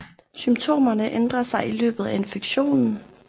Symptomerne ændrer sig i løbet af infektionen